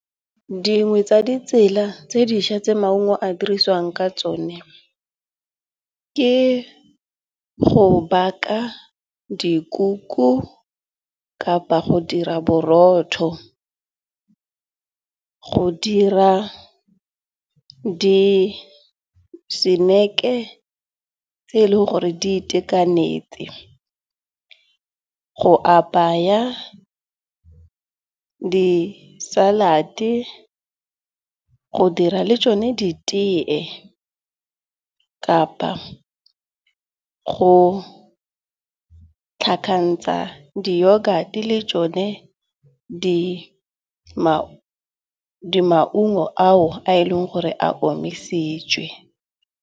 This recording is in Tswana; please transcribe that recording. Dingwe tsa ditsela tse dintšha tse maungo a dirisiwang ka tsone, ke go baka dikuku kapa go dira borotho. Go dira di-snack-e tse eleng gore di itekanetse go apaya di-salad-e go dira le tsone di teye kapa go tlhakantsha di-yogurt di le tsone di maungo ao a e leng gore a omisitswe.